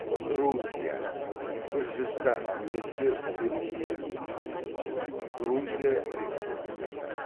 грузия гүржістан немесе гүржия грузия республикасы